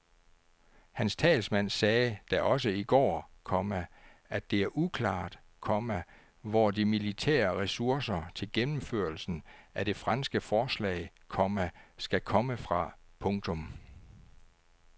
Hans talsmand sagde da også i går, komma at det er uklart, komma hvor de militære ressourcer til gennemførelsen af det franske forslag, komma skal komme fra. punktum